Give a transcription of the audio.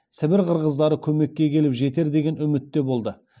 сібір қырғыздары көмекке келіп жетер деген үмітте болды